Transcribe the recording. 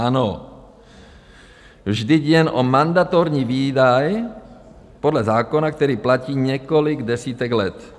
Ano, vždyť jde o mandatorní výdaj podle zákona, který platí několik desítek let.